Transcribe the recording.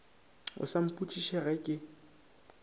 o sa mpotšiša ge ke